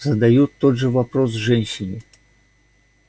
задают тот же вопрос женщине